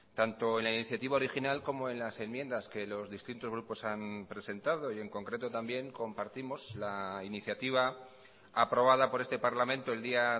tanto en la iniciativa original como en las enmiendas que los distintos grupos han presentado y en concreto también compartimos la iniciativa aprobada por este parlamento el día